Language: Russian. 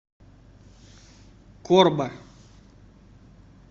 корба